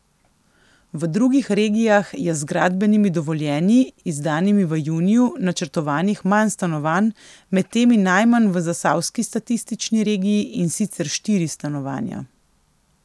V drugih regijah je z gradbenimi dovoljenji, izdanimi v juniju, načrtovanih manj stanovanj, med temi najmanj v zasavski statistični regiji, in sicer štiri stanovanja.